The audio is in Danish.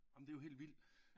Ah men det er jo held vild